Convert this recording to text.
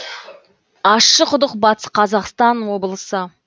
ащықұдық батыс қазақстан облысы